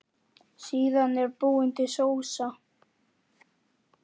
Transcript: Síðan er búin til sósa.